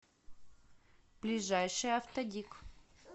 ближайший автодик